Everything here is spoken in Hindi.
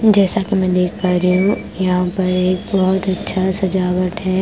जैसा कि मैं देख पा रही हूं यहां पर एक बोहोत अच्छा सजावट है।